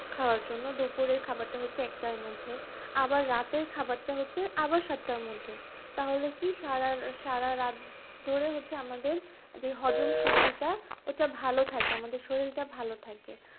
খাওয়ার জন্য, দুপুরের খাবারটা হচ্ছে একটার মধ্যে আবার রাতের খাবারটা হচ্ছে আবার সাতটার মধ্যে, তাহলে হচ্ছে কি সারা রাত ধরে যে আমাদের যে হজমশক্তি টা ওটা ভালো থাকে, আমাদের শরীলটা ভালো থাকে